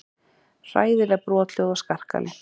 Hræðileg brothljóð og skarkali.